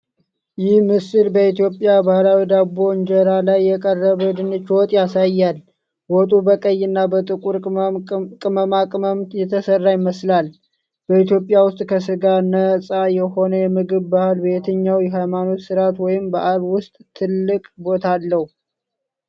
ይህ ምስል በኢትዮጵያ ባህላዊ ዳቦ እንጀራ ላይ የቀረበ ድንች ወጥ ያሳያል። ወጡ በቀይና በጥቁር ቅመማ ቅመም የተሰራ ይመስላል። በኢትዮጵያ ውስጥ ከስጋ ነፃ የሆነ የምግብ ባህል በየትኛው የሃይማኖት ስርዓት ወይም በዓል ውስጥ ትልቅ ቦታ አለው?